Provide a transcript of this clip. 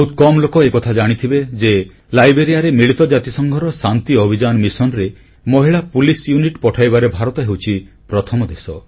ବହୁତ କମ ଲୋକ ଏକଥା ଜାଣିଥିବେ ଯେ ଲାଇବେରିଆରେ ମିଳିତ ଜାତିସଂଘର ଶାନ୍ତି ଅଭିଯାନ ମିଶନରେ ମହିଳା ପୋଲିସ୍ ୟୁନିଟ୍ ପଠାଇବାରେ ଭାରତ ହେଉଛି ପ୍ରଥମ ଦେଶ